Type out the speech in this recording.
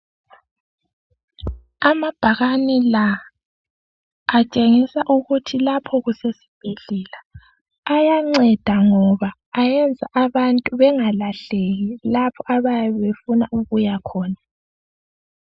Amabhakane la atshengisa ukuthi lapha kusesibhedlela. Ayanceda ngoba ayenza abantu bengalahleki lapho abayabe befuna ukuya khona.